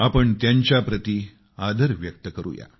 आपण त्यांच्या प्रती आदर व्यक्त करू या